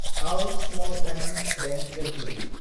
आव small finance bank Ltd